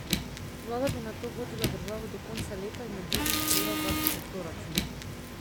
Vlada bi nato vodila državo do konca leta in med drugim sprejela zakon o proračunu.